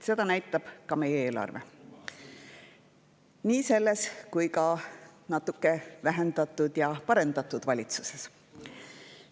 Seda näitab ka meie eelarve – nii kui ka selles natuke vähendatud ja parendatud valitsuses.